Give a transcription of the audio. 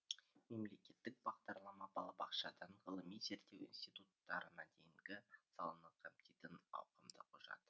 мемлекеттік бағдарлама балабақшадан ғылыми зерттеу институттарына дейінгі саланы қамтитын ауқымды құжат